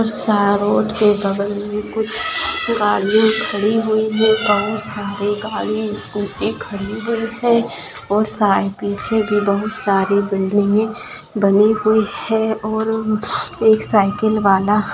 सा रोड के बगल में कुछ गाड़िया खड़ी हुई है बहुत सारी गाड़ी स्कूटी खड़ी हुई है और साय पीछे भी बहुत सारी बिल्डिंगें बनी हुई है और एक साइकिल वाला --